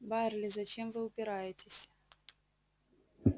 байерли зачем вы упираетесь